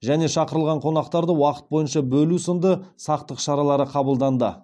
және шақырылған қонақтарды уақыт бойынша бөлу сынды сақтық шаралары қабылданды